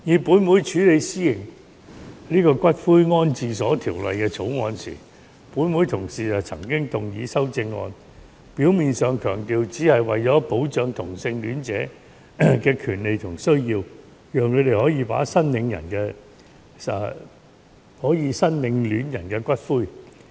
本會處理《私營骨灰安置所條例草案》時，有同事就曾經動議修正案，表面上強調只是為了保障同性戀者的權利和需要，讓他們可以申領戀人的骨灰。